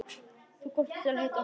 Þú komst og hittir okkur.